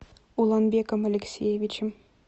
уланбеком алексеевичем